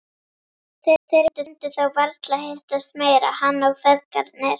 Þeir myndu þá varla hittast meira, hann og feðgarnir.